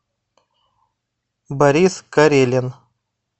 борис карелин